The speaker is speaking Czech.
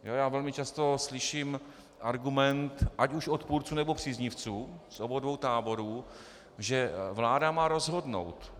Já velmi často slyším argument ať už odpůrců, nebo příznivců z obou dvou táborů, že vláda má rozhodnout.